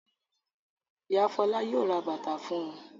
Ìyá Fọlá yóò ra bàtà fún un.